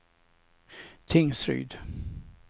Tingsryd